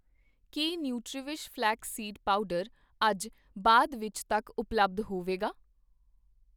ਕੀ ਨੂੰਟਰੀਵਿਸ਼ flax seed powder ਅੱਜ ਬਾਅਦ ਵਿੱਚ ਤੱਕ ਉਪਲੱਬਧ ਹੋਵੇਗਾ?